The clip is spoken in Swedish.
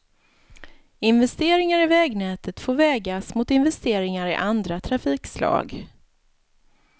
Investeringar i vägnätet får vägas mot investeringar i andra trafikslag.